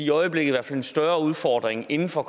i øjeblikket en større udfordring inden for